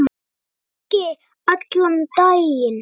Ég hringi allan daginn.